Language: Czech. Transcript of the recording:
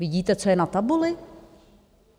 Vidíte, co je na tabuli?